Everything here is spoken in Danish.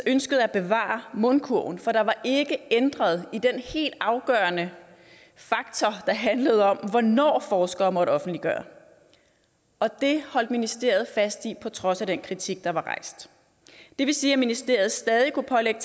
ønskede at bevare mundkurven for der var ikke ændret i den helt afgørende faktor der handlede om hvornår forskere måtte offentliggøre og det holdt ministeriet fast i på trods af den kritik der var rejst det vil sige at ministeriet stadig kunne pålægge